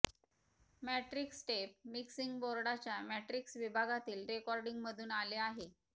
matrix tape mixing बोर्डच्या matrix विभागातील रेकॉर्डिंगमधून आले आहे